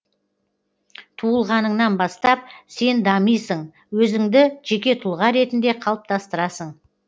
туылғаныңнан бастап сен дамисың өзіңді жеке тұлға ретінде қалыптастырасың